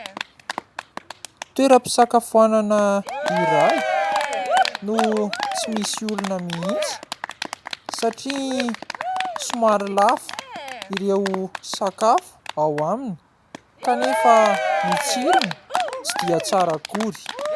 Toeram-pisakafoanana iray no tsy misy olona mihitsy satria somary lafo ireo sakafo ao aminy kanefa ny tsirony tsy dia tsara akory.